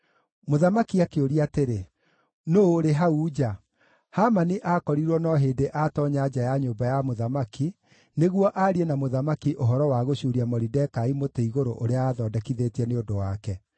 Mũthamaki akĩũria atĩrĩ, “Nũũ ũrĩ hau nja?” Hamani aakorirwo no hĩndĩ aatoonya nja ya nyũmba ya mũthamaki nĩguo aarie na mũthamaki ũhoro wa gũcuuria Moridekai mũtĩ-igũrũ ũrĩa aathondekithĩtie nĩ ũndũ wake.